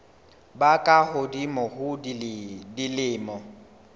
ba ka hodimo ho dilemo